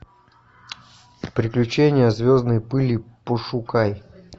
приключения звездной пыли пошукай